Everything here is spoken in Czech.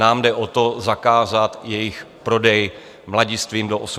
Nám jde o to, zakázat jejich prodej mladistvým do 18 let.